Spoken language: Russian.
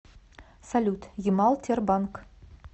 салют ямал тербанк